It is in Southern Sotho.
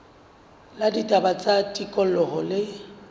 la ditaba tsa tikoloho le